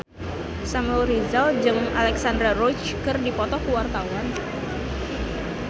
Samuel Rizal jeung Alexandra Roach keur dipoto ku wartawan